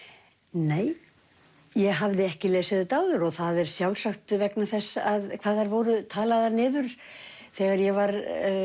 nei ég hafði ekki lesið þetta áður og það er sjálfsagt vegna þess hvað þær voru talaðar niður þegar ég var